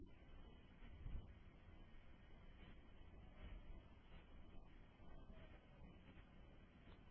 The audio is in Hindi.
संकलन करते है